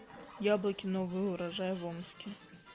яблоки новый урожай в омске